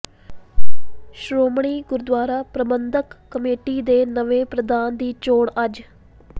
ਸ਼੍ਰੋਮਣੀ ਗੁਰਦੁਆਰਾ ਪ੍ਰਬੰਧਕ ਕਮੇਟੀ ਦੇ ਨਵੇਂ ਪ੍ਰਧਾਨ ਦੀ ਚੋਣ ਅੱਜ